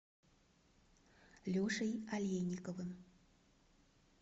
лешей алейниковым